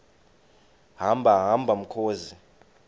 hamba hamba mkhozi